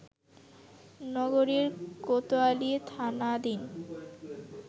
নগরীর কোতোয়ালি থানাধীন